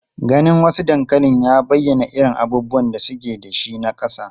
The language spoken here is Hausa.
Ganin wasu dankalin ya bayyana irin abubuwan da suke da shi na kasa.